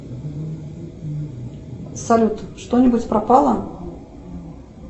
салют что нибудь пропало